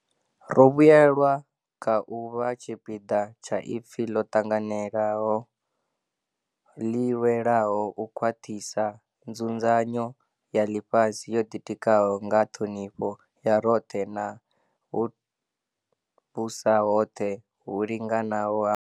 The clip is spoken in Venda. Ro vhuelwa kha u vha tshipiḓa tsha ipfi ḽo ṱanganelaho ḽi lwelaho u khwaṱhisa nzu dzanyo ya ḽifhasi yo ḓitikaho nga ṱhonifho ya roṱhe na vhuvhusahoṱhe hu linganaho ha mashango.